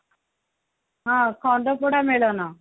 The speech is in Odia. ହଁ ଖଣ୍ଡପଡା ମେଳନ